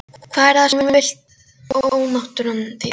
Hvað er það sem þú vilt ónáttúran þín?